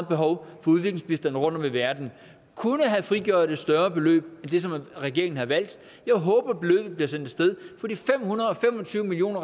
behov for udviklingsbistand rundtom i verden kunne have frigjort et større beløb end det som regeringen har valgt jeg håber beløbet bliver sendt af sted for de fem hundrede og fem og tyve million